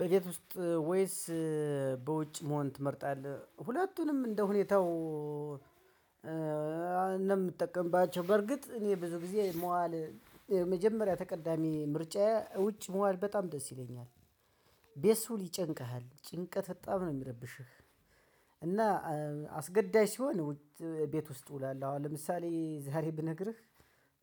በቤት ውስጥ ወይስ በውጭ መሆን ትመርጣለህ? ሁለቱንም እንደሁኔታው እንደምትጠቀምባቸው በርግጥ እኔ ብዙ ጊዜ መዋል የመጀመሪያ ተቀዳሚ ምርጫዬ ውጭ መዋል በጣም ደስ ይለኛል። ቤት ስውል ይጨንቀሃል ጭንቀት በጣም ነው የሚረብሸው። እና አስገዳጅ ሲሆን ቤት ውስጥ እውላለህ አሁን ለምሳሌ ዛሬ ብነግርህ።